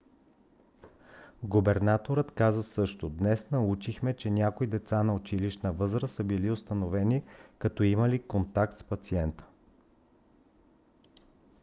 губернаторът каза също: днес научихме че някои деца на училищна възраст са били установени като имали контакт с пациента.